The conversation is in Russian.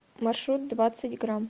маршрут двадцать грамм